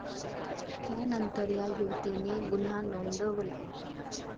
त्यांतर या युवतीने गुन्हा नोंदवला.